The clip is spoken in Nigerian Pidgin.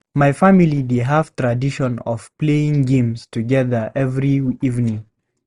My family dey have tradition of playing games together every evening.